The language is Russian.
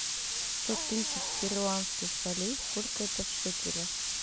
сто тысяч перуанских солей сколько это в шекелях